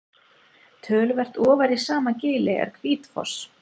töluvert ofar í sama gili er hvítfoss